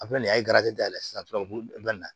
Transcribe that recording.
A filɛ nin ye a ye dayɛlɛ sisan u b'o na